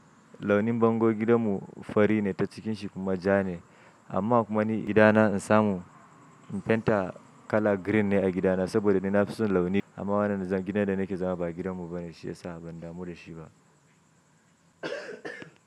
Launin bango gidanmu fari ne ta cikin shi kuma ja ne. Amma kuma ni gidana in samu in penta kala green ne a gidana saboda ni na fi son launi. Amma wannan gidan da nake zama ba gidanmu bane shiyasa ban damu da shi ba.